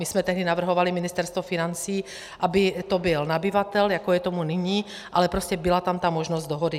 My jsme tehdy navrhovali, Ministerstvo financí, aby to byl nabyvatel, jako je tomu nyní, ale prostě byla tam ta možnost dohody.